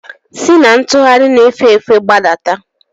Si na ntugharị na-efe efe gbadata!